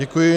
Děkuji.